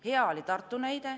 Hea näide oli Tartu.